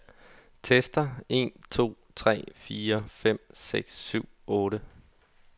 Tester en to tre fire fem seks syv otte.